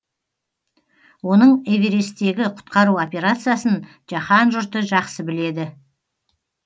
оның эвересттегі құтқару операциясын жаһан жұрты жақсы біледі